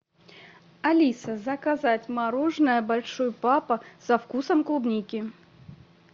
алиса заказать мороженое большой папа со вкусом клубники